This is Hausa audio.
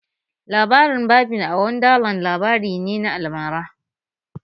Labarin Barbie a Wonderland labari ne na almara